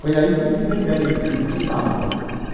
Foi aí que eu tive a ideia de que queria ser padre né.